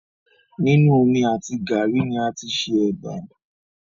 Nínu omi àti gàárì ni a tí ṣe ẹbà